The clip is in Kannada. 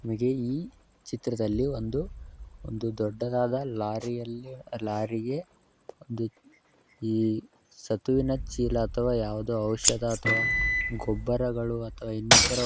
ನಮಗೆ ಈ ಚಿತ್ರದಲ್ಲಿ ಒಂದು ದೊಡ್ಡದಾದ ಲಾರಿಯಲ್ಲಿ ಲಾರಿಗೆ ಒಂದು ಈ ಸತುವಿನ ಚೀಲ ಅಥವಾ ಯಾವುದೋ ಔಷಧ ಅಥವಾ ಗೊಬ್ಬರಗಳು ಅಥವಾ ಇನ್ನಿತರ --